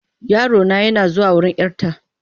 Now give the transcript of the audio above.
Yarona yana zuwa wurin 'yarta.